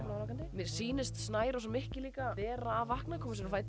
mér sýnist snærós og Mikki líka vera að vakna